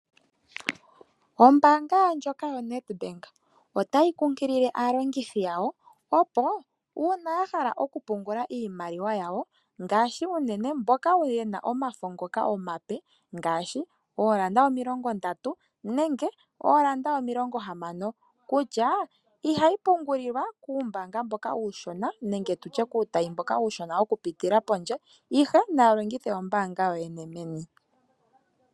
Ombaanga ndjoka yoNedbank otayi kunkilile aalongithi yawo opo uuna ya hala okupungula iimaliwa yawo ngaashi unene mboka ye na omafo ngoka omape, ngaashi oondola omilongondatu nenge oondola omilongohamano kutya, ihayi pungulilwa kuumbaanga mboka uushona nenge tu tye kuutayi mboka uushona okupitila pondje ihenaya longithe ombaanga yoyene meni.